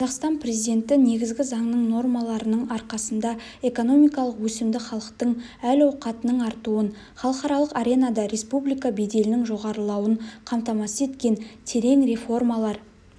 қазақстан президенті негізгі заңның нормаларының арқасында экономикалық өсімді халықтың әл-ауқатының артуын халықаралық аренада республика беделінің жоғарылауын қамтамасыз еткен терең реформалар